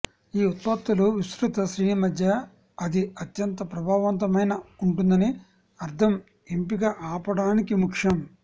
ఈ ఉత్పత్తుల విస్తృత శ్రేణి మధ్య అది అత్యంత ప్రభావవంతమైన ఉంటుందని అర్థం ఎంపిక ఆపడానికి ముఖ్యం